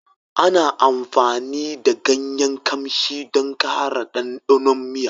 Ana amfani da ganyen ƙamshi don ƙara ɗanɗanon miya